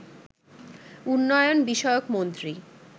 উন্নয়ন বিষয়ক মন্ত্রী